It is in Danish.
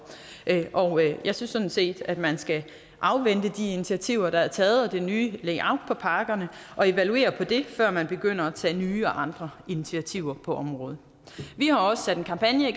og jeg synes sådan set at man skal afvente de initiativer der er taget og det nye layout på pakkerne og evaluere på det før man begynder at tage nye og andre initiativer på området vi har også sat en kampagne i